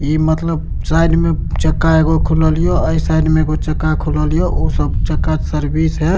ई मतलब साइड में चक्का एगो खुललियो अ ई साइड में एगो चका खुललियो उ सब चक्का सर्विस है।